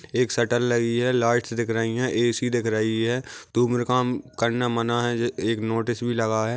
एक शटर लगी है लाइटस सी दिख रही है ए.सी. दिख रही है धुम्राकाम करना मना है एक नोटिस भी लगा है।